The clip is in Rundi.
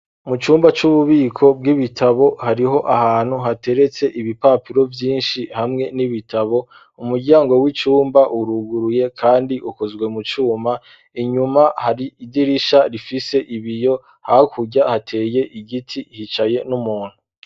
Mu cumba, c'ububiko bw'ibitabo, hariho ahantu, hateretse ibipapiro vyinshi, hamwe n'ibitabo; umuryango w'icumba, uruguruye, kandi ukozwe, mu cuma; inyuma, hari idirisha, rifise ibiyo; hakurya hateye igiti, hicaye n'umuntu.